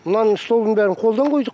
мынаның столдың бәрін қолдан қойдық